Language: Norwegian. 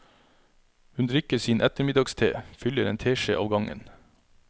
Hun drikker sin ettermiddagste, fyller en teskje av gangen.